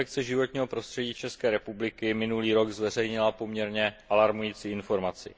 Inspekce životního prostředí České republiky minulý rok zveřejnila poměrně alarmující informaci.